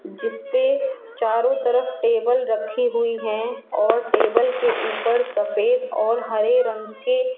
जिसपे चारों तरफ टेबल रखी हुई है और टेबल के ऊपर सफेद और हरे रंग के --